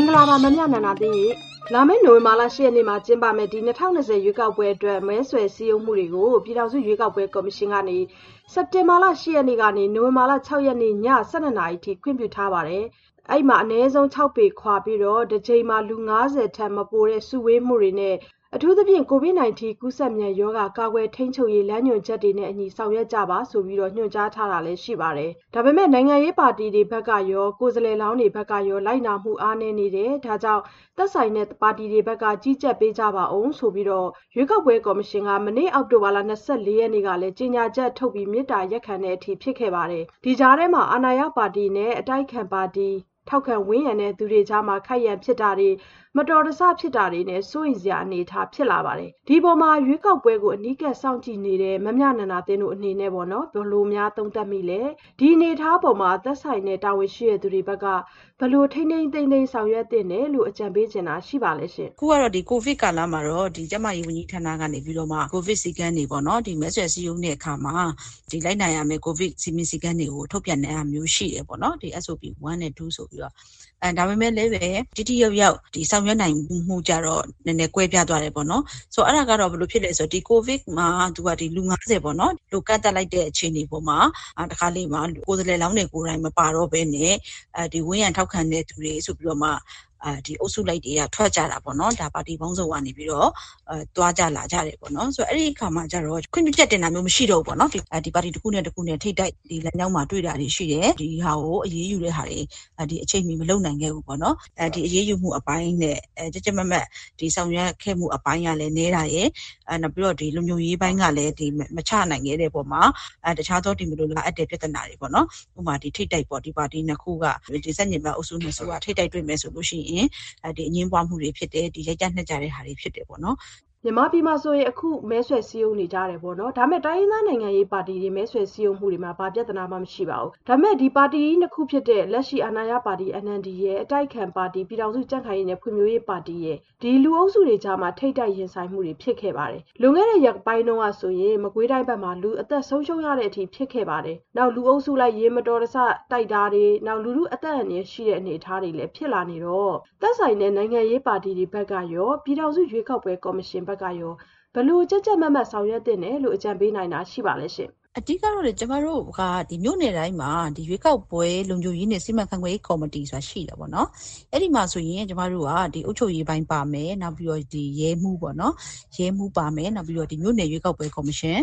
င်္ဂလာပါ မမြနန္ဒာသင်းရှင့်။ လာမယ့်နိုဝင်ဘာလ ၈ရက်နေ့မှာ ကျင်းပမယ့် ၂၀၂၀ ရွေးကောက်ပွဲအတွက် မဲဆွယ်စည်းရုံးမှုတွေကို ပြည်ထောင်စုရွေးကောက်ပွဲကော်မရှင်ကနေ စက်တင်ဘာလ ၈ရက်နေ့ကနေ နိုဝင်ဘာလ ၆ရက်နေ့ ည ၁၂နာရီအထိ ခွင့်ပြုထားပါတယ်။ အနည်းဆုံး ၆ပေခွာပြီး တကြိမ်မှာ လူ၅၀ထက်မပိုတဲ့ စုဝေးမှုတွေ နဲ့ အထူးသဖြင့် ကိုဗစ်၁၉ ကူးစက်မြန်ရောဂါ ကာကွယ်ထိန်းချုပ်ရေးလမ်းညွှန်ချက်နဲ့အညီ ဆောင်ရွက်ကြပါဆိုပြီး ညွှန်ကြားထားတာလည်း ရှိပါတယ်။ ဒါပေမဲ့ နိုင်ငံရေးပါီတီတွေဘက်ကရော ကိုယ်စားလှယ်လောင်းတွေဘက်ကရော လိုက်နာမှုအားနည်းတယ် ဒါကြောင့် သက်ဆိုင်ရာပါတီတွေဘက်က ကြီးကြပ်ပေးကြပါဦးဆိုပြီးတော့ ရွေးကောက်ပွဲကော်မရှင်က မနေ့ အောက်တိုဘာလ ၂၄ရက်နေ့ကလည်း ကြေညာချက်ထုတ် မေတ္တာရပ်ခံရတဲ့အထိဖြစ်ခဲ့ပါတယ်။ ဒီကြားထဲမှာပါ အာဏာရပါတီနဲ့ အတိုက်အခံပါတီ ထောက်ခံဝန်းရံသူတွေကြားမှာ ခိုက်ရန်ဖြစ်ပွားတာတွေ မတော်တဆဖြစ်မှုတွေနဲ့ စိုးရိမ်စရာ အနေအထားဖြစ်လာနေပါတယ်။ ဒီအပေါ် ရွေးကောက်ပွဲအနီးကပ်စောင့်ကြည့်နေတဲ့ မမြနန္ဒာသင်းတို့အနေနဲ့ ဘယ်လိုသုံးသပ်မိပါလဲ နောက် ဒီအနေအထားပေါ်မှာ သက်ဆိုင်ရာတာဝန်ရှိသူတွေဘက်က ဘယ်လို ထိန်းထိန်းသိမ်းသိမ်း ကြပ်မတ်ဆောင်ရွက်သင့်တယ်လို့ အကြံပေးချင်တာရှိပါလဲရှင်။ အခုကတော့ ကိုဗစ်ကာလ မှာတော့ ကျန်းမာရေးဝန်ကြီးဌာကနေပြီးတော့ ကိုဗစ်စည်းကမ်းတွေပေါ့နော် ဒီမဲဆွယ်စည်းရုံးတဲ့အခါမှာ လိုက်နာရမယ့် ကိုဗစ်စည်းမျဉ်းစည်းကမ်းတွေကို ထုတ်ပြန်တာမျိုး ရှိတယ်။ ဒါပေမဲ့လည်း ထိထိရောက်ရောက်ဆောင်ရွက်နိုင်မှုကျတော့ နည်းနည်းကွဲပြားသွားတယ်ပေါ့နော်။ ဆိုတော့ အဲ့တာက ဘယ်လိုဖြစ်သလဲ ဆိုတော့ ကိုဗစ်ကာလမှာ လူ လို့ ကန့်သတ်လိုက်တဲ့အချိန်မှာ တခါတလေမှာ ကိုယ်စားလှယ်လောင်းတွေ မပါတော့ပဲနဲ့ ဝန်းရံထောက်ခံတဲ့သူတွေဆိုပြီးတော့မှ အုပ်စုလိုက် လူတွေထွက်ကြတာပေါ့နော် ပါတီပေါင်းစုံကနေပြီးတော့ သွားကြလာကြတယ်ပေါ့နော်။ ဆိုတော့ အဲ့ဒီ့အခါမှာ ခွင့်ပြုချက်တင်တာတွေမရှိတော့ဘူးပေါ့။ အဲ့ဒီ့မှာ ပါတီတခုနဲ့တခု လမ်းကြောင်းတွေမှာ ထိပ်တိုက်တွေ့တာတွေရှိလာတယ်။ ဒီဟာတွေကို အရေးယူတာတွေ အချိန်မီမလုပ်နိုင်ခဲ့ဘူးပေါ့နော်။ အရေးယူမှုအပိုင်းနဲ့ ကြပ်ကြပ်မတ်မတ် ဆောင်ရွက်ခဲ့မှုအပိုင်းကလည်း နည်းတာရယ်၊ လုံခြုံရေးပိုင်းကလည်း မချနိုင်ခဲ့တဲ့အပေါ်မှာ တခြားသော မလိုလားအပ်တဲ့ပြဿနာတွေ ထိပ်တိုက်ပေါ့နော် ပါတီနှစ်ခု ဆန့်ကျင်ဘက်အုပ်စုနှစ်ခုက ထပ်တိုက်တွေ့ပြီး အငြင်းပွားမှုတွေဖြစ်တယ်။ ရိုက်ကြနှက်ကြတာတွေဖြစ်တယ်ပေါ့နော်။ ဟုတ်ကဲ့ အခုဆို မြန်မာပြည်မှာဆိုရင် စပြီးတော့ မဲဆွယ်စည်းရုံးနေကြတယ်ပေါ့နော် ဒါပေမဲ့ တိုင်းရင်းသား နိုင်ငံရေးပါတီတွေ မဲဆွယ်စည်းရုံးနေကြတယ် ဘာပြဿနာမှ မရှိဘူး ဒါပေမဲ့ ပါတီကြီးနှစ်ခုဖြစ်တဲ့ လက်ရှိ အာဏာရပါတီ NLDရယ် အတိုက်အခံပါတီ ပြည်ထောင်စုကြံ့ခိုင်ရေးနဲ့ဖွံ့ဖြိုးရေးပါတီရယ်မှာ ထိပ်တိုက် ရင်ဆိုင်မှုတွေရှိတယ် လွန်ခဲ့တဲ့ရက်ပိုင်းမှာ ဆို လူအသက်ဆုံးရှုံးရတဲ့ အထိဖြစ်ရခဲ့ပါတယ် လူအုပ်စုလိုက် ယာဉ်မတော်တဆ ထိခိုက်မှုဖြစ်တဲ့အထိ လူထုအသက်အန္တရာယ်ရှိတဲ့အထိဖြစ်လာတဲ့ အနေအထားဖြစ်လာနေတော့- ဒီအပေါ်မှာ သက်ဆိုင်ရာနိုင်ငံရေးပါတီတွေဘက်ကရော ပြည်ထောင်စုရွေးကောက်ပွဲ ကော်မရှင်ဘက်ကရော ဘယ်လိုကြပ်ကြပ်မတ်မတ် ဆောင်ရွက်သင့်တယ်လို့ အကြံပေးနိုင်တာ ရှိပါလဲရှင့်။ အဓိက ကတော့လေ ကျမတို့ မြို့နယ်တိုင်းမှာ " ရွေးကောက်ပွဲလုံခြုံရေးနဲ့ စီမံခန့်ခွဲရေးကော်မတီ" ဆိုတာရှိတယ်။ အဲ့ဒီ့မှာဆိုရင် အုပ်ချုပ်ရေးပိုင်းပါမယ်။ နောက် ရဲမှူးပါမယ် နောက် မြို့နယ်ရွေးကောက်ပွဲကော်မရှင်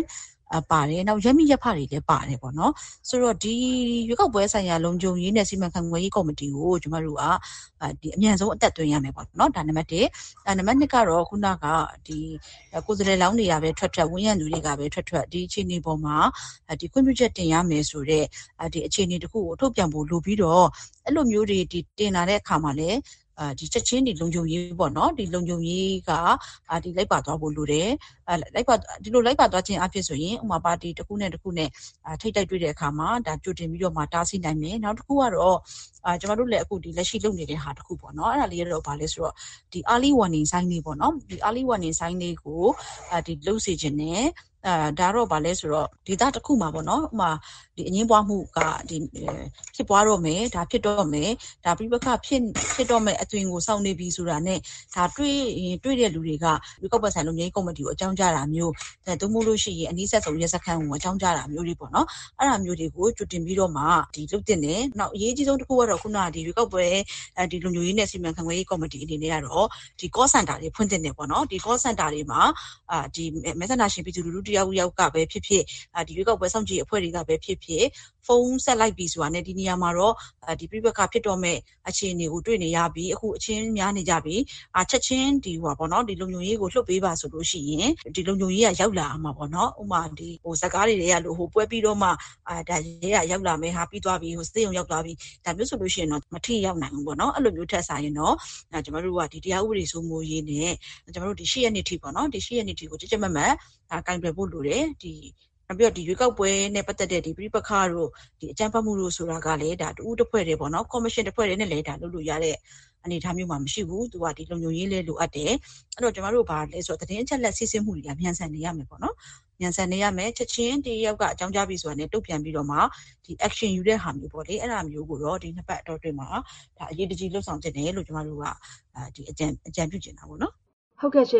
ပါမယ်။ နောက် ရပ်မိရပ်ဖတွေလည်းပါမယ်ပေါ့နော်။ ဆိုတော့ ရွေးကောက်ပွဲလုံခြုံရေးနဲ့ စီမံခန့်ခွဲရေးကော်မတီ ကို ကျမတို့က အမြန်ဆုံးအသက်သွင်းရမယ် ဒါ နံပတ်တစ်။ နံပတ်နှစ်ကတော့ ကိုယ်စားလှယ်လောင်းတွေကပဲ ထွက်ထွက် ဝန်းရံသူတွေကပဲ ထွက်ထွက် ဒီအခြေအနေအပေါ်မှာ ခွင့်ပြုချက်တင်ရမယ်ဆိုတဲ့ အခြေအနေတခုကို ထုတ်ပြန်ဖို့လိုပြီးတော့ အဲ့လိုမျိုး တင်လာတဲ့အပေါ်မှာလည်း ချက်ခြင်း လုံခြုံရေးပေါ့နော်။ လုံခြုံရေးက တပါတည်းလိုက်ပါသွားဖို့လိုတယ်ပေါ့နော်။ ဒီလိုလိုက်ပါသွားခြင်းအားဖြင့် ဥပမာ ပါတီ တခုနဲ့တခုနဲ့ ထိပ်တိုက်တွေ့တဲ့အခါမှာ ကြိုတင်ပြီးတော့ တားဆီးနိုင်မယ်။ နောက်တခုကတော့ ကျမတို့ အခုလက်ရှိလုပ်နေတဲ့ဟာလေးရှိတယ်။ ဘာလဲဆိုတော့ Early Warning Signs လေးပေါ့နော် Early Warning Signs လေးကို လုပ်စေချင်တယ်။ အဲ့တာကတော့ ဥပမာ ဒေသတခုမှာ အငြင်းပွားမှု ဖြစ်တော့မယ် ၊ ပဋိပက္ခဖြစ်ပွားမှု အသွင်ကို ဆောင်နေပြီဆိုတာနဲ့ တွေ့ရင် တွေ့တဲ့သူကနေ ရွေးကောက်ပွဲကော်မရှင်ကို ချက်ခြင်းအကြောင်းကြားတာမျိုး ဒါမှမဟုတ်ရင် နီးစပ်ရာရဲစခန်းကို အကြောင်းကြားတာမျိုးတွေပေါ့နော် အဲ့တာမျိုးတွေကို အရေးတကြီးလုပ်သင့်တယ်။ နောက်တခု အရေးအကြီးဆုံးကတော့ " ရွေးကောက်ပွဲလုံခြုံရေးနဲ့ စီမံခန့်ခွဲရေးကော်မတီ" အနေနဲ့ကတော့ Call Center တွေဖွင့်သင့်တယ်။ ဒီ Call Center တွေမှာ မဲဆန္ဒရှင်ပြည်သူလူထု တယောက်ယောက်ကပဲဖြစ်ဖြစ် ရွေးကောက်ပွဲစောင့်ကြည့်ရေးအဖွဲ့တွေကပဲဖြစ်ဖြစ် ဖုန်းဆက်လိုက်ပြီဆိုတာနဲ့ ဒီနေရာမှာတော့ ပဋိပက္ခဖြစ်တော့မယ့် အခြေအနေကိုတွေ့နေရပြီ။ အခုအချင်းများနေကြပြီ။ ချက်ခြင်းလုံခြုံရေးကို လွှတ်ပေးပါ ဆိုလို့ရှိရင် လုံခြုံရေးက ရောက်လာရမှာပေါ့နော် ဒါပေမဲ့ ရုပ်ရှင်ဇာတ်ကားတွေထဲမှာ ရဲက ပွဲပြီးသွားမှ ရောက်လာတာမျိုး ဆေးရုံရောက်ကုန်ကြပြီးမှ ရောက်လာတမျိုး ဒါမျိုးဆိုရင်တော့-မထိရောက်နိုင်ဘူးပေါ့နော်။ အဲ့တာမျိုးတွေထက်စာရင် ကျမတို့က ဒီတရားဥပဒေစိုးမိုးရေးနဲ့ လာမယ့်၈ရက်နေ့အထိ ကြပ်ကြပ်မတ်မတ် ကိုင်တွယ်ဖို့လိုတယ်။ နောက် ရွေးကောက်ပွဲနဲ့ပတ်သက်တဲ့ ပဋိပက္ခတို့ အကြမ်းဖက်မှုတို့ကို ကိုင်တွယ်ဖြေရှင်းဖို့ဆိုတာကလည်း ရွေးကောက်ပွဲကော်မရှင် တခုတည်းနဲ့ လုပ်လို့ရတဲ့ အနေအထားမျိုးမှာ မရှိဘူး။ သူက လုံခြုံရေးလည်း လိုအပ်တယ်။ နောက် သတင်းအချက်အလက် စီးဆင်းမှုတွေကလည်း မြန်ဆန်နေရမယ်ပေါ့နော်။ ချက်ခြင်း တယောက်ယောက်က အကြောင်းကြားပြီဆိုတာနဲ့ တုန့်ပြန်ပြီးတော့မှ Action ယူတဲ့ဟာမျိုးကို ဒီနှစ်ပတ်အတောအတွင်းမှာ အရေးတကြီးလုပ်ဆောင်သင့်တယ်လို့ ကျမတို့က အကြံပြုချင်တာပေါ့နော်။ ဟုတ်ကဲ့။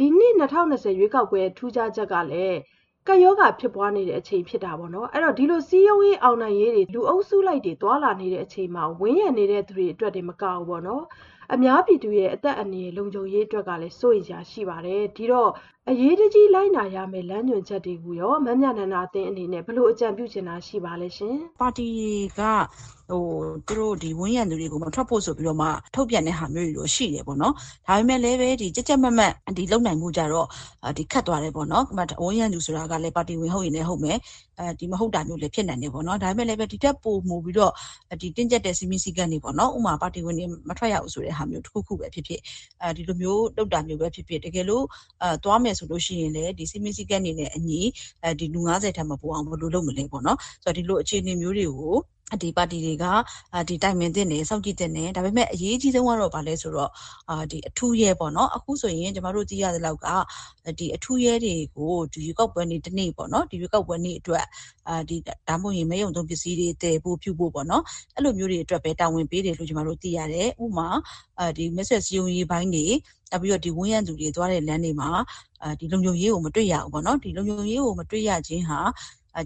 ဒီနှစ် ၂၀၂၀ ရွေးကောက်ပွဲရဲ့ထူးခြားချက်ကလည်း ကပ်ရောဂါဖြစ်ပွားနေချိန်လည်းဖြစ်တာပေါ့နော်။ ဒီလိုစည်းရုံးရေး အောင်နိုင်ရေးတွေ လူအုပ်လိုက်ကြီးတွေ သွားလာနေကြတဲ့အပေါ် ဝန်းရံနေတဲ့သူတွေတင်မက အများပြည်သူ ကျန်းမာရေး အသက်အန္တရာယ် လုံခြုံရေးတွေအတွက် အရေးတကြီးလိုက်နာရမယ့်လမ်းညွှန်ချက်တွေအပေါ် မမြနန္ဒာသင်းအနေနဲ့ ဘယ်လိုအကြံပြုချင်တာ ရှိပါသလဲရှင်။ ပါတီတွေက သူတို့ကို ဝန်းရံတဲ့သူတွေကို မထွက်ဖို့ဆိုပြီးတော့မှ ထုတ်ပြန်တဲ့ဟာမျိုးတွေတော့ ရှိတယ်ပေါ့နော်။ ဒါပေမဲ့လည်း ကြပ်ကြပ်မတ်မတ် လုပ်နိုင်ဖို့က ခက်သွားတယ်ပေါ့နော် ဘာဖြစ်လို့လဲဆိုတော့ ဝန်းရံသူဆိုတာကလည်း ပါတီဝင် ဟုတ်ရင်လည်းဟုတ်မယ်။ မဟုတ်တာမျိုးတွေလည်း ရှိနိုင်တယ် ဒါပေမဲ့လည်းပဲ ဒီ့ထက်ပိုမိုပြီးတင်းကျပ်တဲ့ စည်းမျဉ်းစည်းကမ်းတွေပေါ့နော် ဥပမာ ပါတီဝင်တွေ လုံးဝမထွက်ရဘူးဆိုတာမျိုး တကယ်လို့ ထွက်မယ်သွားမယ်ဆိုရင်လည်း စည်းမျဉ်းစည်းကမ်းတွေနဲ့အညီ လူ ထက်မပိုအောင် ဘယ်လိုလုပ်မလဲပေါ့။ ဒီလိုအခြေအနေမျိုးတွေကို ဒီပါတီတွေက တိုင်ပင်သင့်တယ် စောင့်ကြည့်သင့်တယ်။ အရေးအကြီးဆုံးက ဘာလဲဆိုတော့ အထူးရဲပေါ့နော် အခုဆိုရင် ကျမတို့သိရသလောက်က အထူးရဲတွေကို ရွေးကောက်ပွဲနေ့ တနေ့အတွက် နောက်ပြီး မဲရုံသုံးပစ္စည်းတွေ သယ်ဖို့ပြုဖို့ပေါ့နော် အဲ့လိုမျိုးတွေအတွက်ပဲ တာဝန်ပေးတယ်လို့ ကျမတို့သိရတယ် ။ ဥပမာ မဲဆွယ်စည်းရုံးရေးပိုင်းတွေ နောက်ပြီးတော့ ဝန်းရံသူတွေ သွားတဲ့လမ်းတွေမှာ လုံခြုံရေးကို မတွေ့ရဘူးပေါ့နော်။ လုံခြုံရေးကို မတွေ့နိုင်ခြင်းဟာ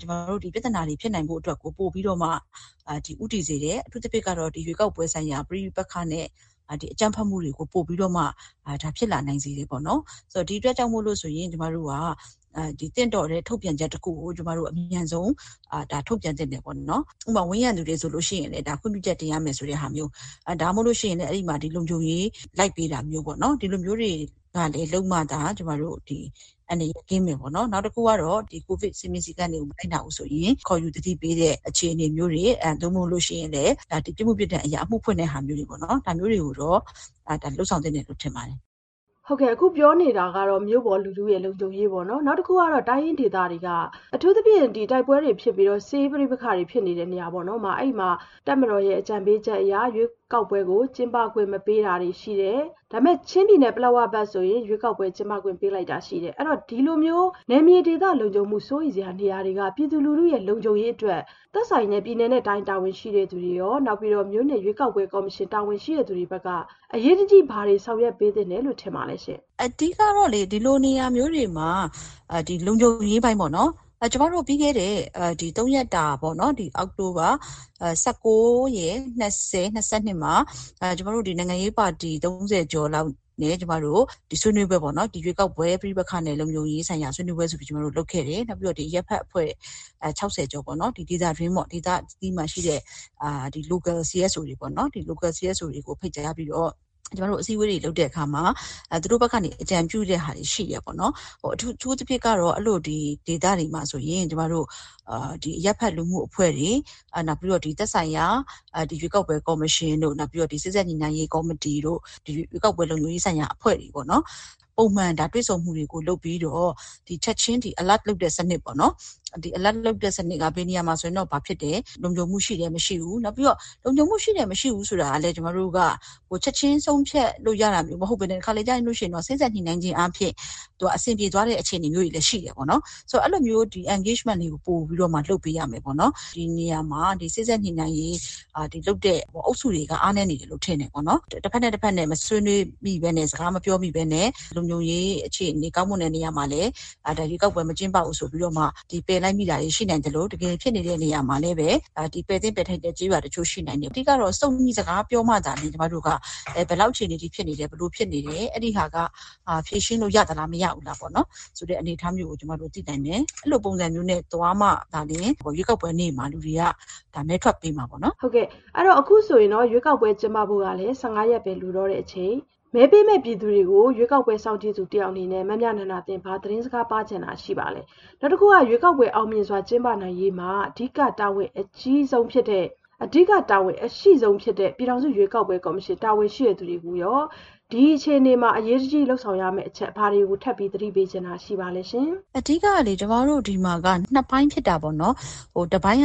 ဒီပြဿနာတွေကို ဖြစ်နိုင်ဖို့အတွက်ကို ပိုပြီးတော့မှ ဦးတည်စေတယ်။ အထူးသဖြင့် ရွေးကောက်ပွဲဆိုင်ရာ ပဋိပက္ခနဲ့ အကြမ်းဖက်မှုတွေကို ပိုပြီးဖြစ်လာနိုင်စေတယ်ပေါ့နော်။ ဒီအတွက် ကျမတို့သင့်တော်တဲ့ ထုတ်ပြန်ချက်တခုကို အမြန်ဆုံး ထုတ်ပြန်သင့်တယ်ပေါ့နော်။ ဥပမာ ဝန်းရံသူတွေ ခွင့်ပြုချက်တင်ရမယ်ဆိုတဲ့ဟာမျိုး ဒါမှမဟုတ်ရင်လည်း လုံခြုံရေးလိုက်တာမျိုး ဒီလိုမျိုးတွေ လုပ်မှသာ အန္တရာယ်ကင်းမယ်ပေါ့နော်။ နောက်တခုကတော့ ကိုဗစ်စည်းမျဉ်းစည်းကမ်းတွေကို မလိုက်နာဘူးဆိုရင် ခေါ်ယူသတိပေးတဲ့ အခြေအနေမျိုးတွေ နောက် ပြစ်မှုပြစ်ဒဏ်အရ အမှုဖွင့်တဲ့ဟာမျိုးတွေပေါ့နော် ဒါမျိုးတွေကိုတော့ လုပ်ဆောင်သင့်တယ်ထင်ပါတယ်။ ဟုတ်ကဲ့ အခုပြောနေကြတာက မြို့ပေါ် လူထုလုံခြုံရေးပေါ့နော် နောက်တခုက တိုင်းရင်းဒေသတွေမှာ အထူးသဖြင့် တိုက်ပွဲတွေဖြစ်နေတာ စစ်ရေးပဋိပက္ခတွေဖြစ်နေတဲ့နေရာတွေမှာ တပ်မတော်ရဲ့အကြံပေးချက်အရ ရွေးကောက်ပွဲ ကျင်းပခွင့်မပေးတာရှိတယ် ။ ချင်းပြည်နယ်ပလက်ဝဘက်ဆို ရွေးကောက်ပွဲကျင်းပခွင့်ပေးလိုက် လည်းရှိတယ်။ အဲ့လို နယ်မြေဒေသလုံခြုံမှုစိုးရိမ်စရာနေရာတွေက ပြည်သူလူထုရဲ့ လုံခြုံရေးတွေအတွက် သက်ဆိုင်ရာ ပြည်နယ်တိုင်းတာဝန်ရှိသူတွေရော မြို့နယ်ရွေးကောက်ပွဲကော်မရှင်တာဝန်ရှိသူတွေဘက်က အရေးတကြီး ဘာတွေဆောင်ရွက်ပေးသင့်တယ်လို့ထင်ပါလဲရှင့်။ အဓိက ကတော့လေ ဒီလိုနေရာမျိုးတွေမှာ လုံခြုံရေးပိုင်းက အရေးကြီးပါတယ်။ ပြီးခဲ့တဲ့သုံးရက်တာ အောက်တိုဘာ ၁၉ရယ် ၂၀ရယ် ၂၂ မှာ နိုင်ငံရေးပါတီ သုံးဆယ်ကျော်လောက်နဲ့ ဆွေးနွေးကြတယ်။ ရွေးကောက်ပွဲ ပဋိပက္ခနဲ့ လုံခြုံရေးပိုင်းဆိုင်ရာဆွေးနွေးပွဲဆိုပြီး ကျမတို့လုပ်ခဲ့တယ် နောက် အရပ်ဖက်အဖွဲ့ ၆၀ကျော် ဒေသတွင်းမှာရှိတဲ့ Local CSOs တွေရောပေါ့နော် သူတို့ကိုပါ ဖိတ်ကြားပြီး အစည်းအဝေးတွေ လုပ်တဲ့အခါမှာ သူတို့ဘက်ကနေ အကြံပြုတဲ့ဟာတွေရှိတယ်။ အထူးသဖြင့်ကတော့ ဒီလိုဒေသတွေမှာဆိုရင် အရပ်ဖက်လူမှုအဖွဲ့တွေ သက်ဆိုင်ရာ ရွေးကောက်ပွဲကော်မရှင်တို့ နောက်ပြီးတော့ စေ့စပ်ညှိနှိုင်းရေးကော်မတီတို့ ရွေးကောက်ပွဲလုံခြုံရေးပိုင်းဆိုင်ရာအဖွဲ့တွေပေါ့နော် ပုံမှန်တွေ့ဆုံမှုတွေကို လုပ်ပြီးတော့ ချက်ခြင်း Alert လုပ်တဲ့စနစ်ပေါ့နော်။ ဒီAlert စနစ်က ဘယ်နေရာမှာ ဘာဖြစ်နေတယ် လုံခြုံမှုရှိတယ် မရှိဘူး နောက်ပြီးတော့ လုံခြုံမှုရှိတယ် မရှိဘူးဆိုတာကလည်း ချက်ခြင်းဆုံးဖြတ်လို့ ရတာမဟုတ်ပဲနဲ့ တခါတလေမှာ စေ့စပ်ညှိနှိုင်းခြင်းအားဖြင့် အဆင်ပြေသွားတာမျိုးတွေလည်းရှိတယ်။ ဆိုတော့ အဲ့သလိုမျိုး Engagement တွေကိုလည်း လုပ်ပေးရမယ်ပေါ့နော်။ ဒီနေရာမှာ စေ့စပ်ညှိနှိုင်းမှုကို လုပ်ပေးနေတဲ့အုပ်စုတွေက အားနည်းနေတယ်လို့ထင်တယ်။ တဘက်နဲ့တဘက် မဆွေးနွေးမိပဲနဲ့ စကားမပြောမိပဲနဲ့ လုံခြုံရေးအခြေအနေ ကောင်းမွန်တဲ့နေရာမှာလည်း ရွေးကောက်ပွဲကျင်းပနိုင်ခြေမရှိဘူးဆိုပြီး ပယ်လိုက်မိတာတွေရှိနိုင်သလို တကယ်ဖြစ်ပွားနေတဲ့နေရာတွေမှာ ပယ်သင့်ပယ်ထိုက်တဲ့နေရာတွေလည်းရှိနိုင်တယ်။ အဓိက ကတော့ စုံညီစကားပြောကြမှာသာလျှင် ဘယ်နေရာက ဘယ်လောက်အခြေအနေအထိဖြစ်နေတယ် ဘယ်လိုဖြစ်နေတယ် အဲ့ဒီ့ဟာက ဖြေရှင်းလို့ရသလား မရဘူးလားဆိုတာ ကျမတို့သိနိုင်မယ်။ အဲ့လိုမျိုးသွားမှာသာလျှင် ရွေးကောက်ပွဲနေ့မှာ လူတွေ မဲထွက်ပေးမှာပေါ့နော်။ ဟုတ်ကဲ့ပါ အခုဆိုရင် ရွေးကောက်ပွဲကျင်းပဖို့ကလည်း ရက်ပဲလိုတော့တဲ့အချိန်မှာ မဲပေးမယ့်ပြည်သူကို ရွေးကောက်ပွဲစောင့်ကြည့်သူအနေနဲ့ ဘာသတင်းစကားပါးချင်တာရှိပါလဲ။ ရွေးကောက်ပွဲအောင်မြင်စွာကျင်းပနိုင်ရေး အဓိက တာဝန်အရှိဆုံးဖြစ်တဲ့ ပြည်ထောင်စုရွေးကောက်ပွဲကော်မရှင်တာဝန်ရှိသူတွေကိုရော အရေးတကြီး လုပ်ဆောင်ရမယ့်အချက်တွေကို သတိပေးချင်တာရှိပါလဲရှင်။ အဓိကက ကျမတို့ဆီမှာက ပိုင်းဖြစ်တာပေါ့နော်။ တပိုင်းက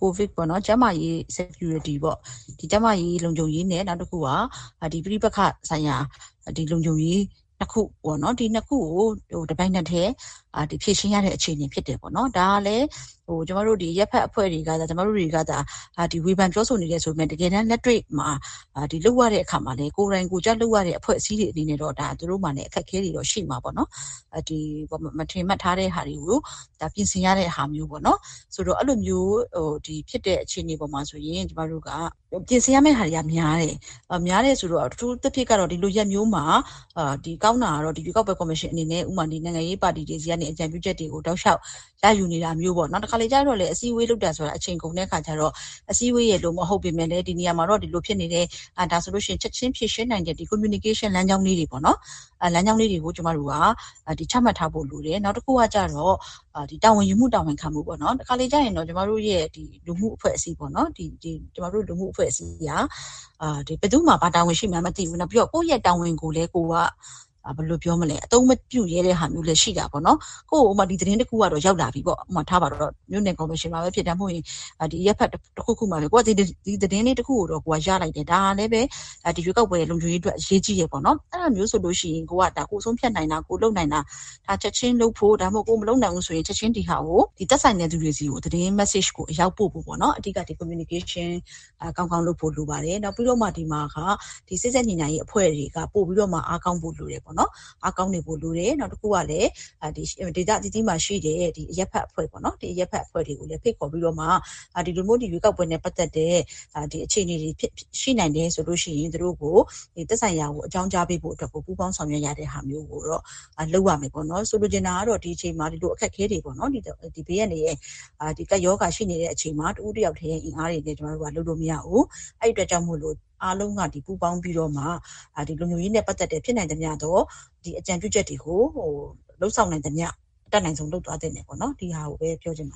ကိုဗစ်ပေါ့ ကျန်းမာရေး Security ပေါ့ ကျန်းမာရေးလုံခြုံရေးနဲ့ ပဋိပက္ခဒေသ လုံခြုံရေး ခုပေါ့။ အဲ့၂ခုက အခုက တပြိုင်နက်တည်း ဖြေရှင်းနေရတဲ့ အချိန်ဖြစ်တယ် ဒါကလည်း ကျမတို့ဒီ အရပ်ဖက်အဖွဲ့အစည်းတွေဘက်က ဝေဖန်ပြောဆိုအကြံပေးနေတယ်ဆိုပေမဲ့ တကယ်တမ်းလက်တွေ့မှာ ကိုယ်တိုင်ကိုယ်ကျ လက်တွေ့မှာ လုပ်နေရတဲ့အဖွဲ့အစည်းတွေမှာ သူတို့မှာလည်း အခက်အခဲတွေရှိမှာပေါ့နော်။ မထင်မှတ်ထားတဲ့ဟာတွေကို ပြင်ဆင်ရတဲ့ဟာမျိုးပေါ့နော်။ အဲ့လိုဖြစ်တဲ့ အခြေအနေအပေါ်မှာဆိုရင် အထူးသဖြင့်ကတော့ ဒီလိုရက်မျိုးမှာ ရွေးကောက်ပွဲကော်မရှင်အနေနဲ့ကောင်းတာက နိုင်ငံရေးပါတီတွေဘက်က အကြံပြုချက်တွေ ရယူတာမျိုးပေါ့ တခါတလေကျတော့လည်း အစည်းအဝေးလုပ်နေတာက အချိန်ကုန်တဲ့အခါကျတော့ အစည်းအဝေးပုံစံမျိုးမဟုတ်ပဲ ဒီနေရာမှာတော့ ဒါတွေဖြစ်နေတယ် ချက်ခြင်းဖြေရှင်းနိုင်တဲ့ပုံစံပေါ့ Communication ဆက်သွယ်ရေးလမ်းကြောင်းလေးတွေ ချမှတ်ထားဖို့လိုတယ်။ နောက် တခါတလေကျတော့ တာဝန်ယူမှု တာဝန်ခံမှုပေါ့ ကျမတို့ လူမှုအဖွဲ့အစည်းက ဘယ်သူ့မှာ ဘာတာဝန်ရှိမှန်းမသိဘူး နောက် ကိုယ့်ရဲ့တာဝန်ကိုလည်း အသုံးမပြုရဲတဲ့ဟာမျိုးလည်းရှိတာပေါ့နော်။ ဥပမာ သတင်းတခုရောက်လာပြီဆိုပါစို့ မြို့နယ်ကော်မရှင်မှာပဲဖြစ်ဖြစ် အရပ်မှာ ဖြစ်နေတာကို သတင်းတခုကို ကိုယ်က ရလိုက်တယ် ဒါကလည်းပဲ ရွေးကောက်ပွဲလုံခြုံရေးအတွက် အရေးကြီးတယ် အဲ့တာမျိုးဆိုလို့ရှိရင် ကိုယ်ဆုံးဖြတ်နိုင်တာ ကိုယ်လုပ်နိုင်တာ ဒါကို ချက်ခြင်းလုပ်ဖို့။ ကိုယ်က ချက်ခြင်း မလုပ်နိုင်ဘူးဆိုရင်လည်း သက်ဆိုင်တဲ့သူတွေကို သတင်းမတ်ဆေ့ကို အရောက်ပို့ဖို့ပေါ့နော် အဓိက Communication ကောင်းကောင်းလုပ်ဖို့လိုပါတယ်။ နောက်ပြီးတော့ ဒီမှာက စေ့စပ်ညှိနှိုင်းရေးအဖွဲ့တွေက ပိုပြီးတော့မှ အားကောင်းဖို့လိုပါမယ်ပေါ့နော်။ နောက်ပြီးတော့ ဒေသအသီးသီးမှာရှိတဲ့အရပ်ဖက်အဖွဲ့အစည်းတွေကိုလည်း ဖိတ်ခေါ်ပြီးတော့မှ ဒီလိုမျိုး ရွေးကောက်ပွဲနဲ့ပတ်သက်တဲ့ အခြေအနေတွေရှိနိုင်တယ်ဆိုလို့ရှိရင် သက်ဆိုင်ရာကို အကြောင်းကြားပေးဖို့ သူတို့ကို ပူးပေါင်းဆောင်ရွက်တဲ့ဟာမျိုး လုပ်ရမယ်ပေါ့နော်။ ဆိုလိုချင်တာက ဒီအချိန်မှာ အခက်အခဲတွေပေါ့နော် ဘေးအန္တရာယ်အခက်အခဲတွေ ကပ်ရောဂါတွေလည်းရှိနေတဲ့အချိန်မျိုးမှာ တဦးတယောက်တည်း အင်အားနဲ့လည်း ကျမတို့လုပ်လို့မရဘူး။ အဲ့ဒီ့အတွက်ကြောင့်မို့လို့ အားလုံးက ဝိုင်းဝန်းပူးပေါင်းပြီးမှ လုံခြုံရေးနဲ့ပတ်သက်တဲ့ ဖြစ်နိုင်သမျှသော အကြံပြုချက်တွေကို လုပ်ဆောင်နိုင်သမျှ အတတ်နိုင်ဆုံး လုပ်သွားသင့်တယ်ပေါ့နော် ဒီဟာကို အဓိကပြောချင်ပါ